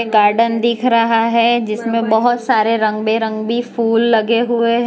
Garden दिख रहा है जिसमें बहुत सारे रंग बिरंगे फूल लगे हुए हैं।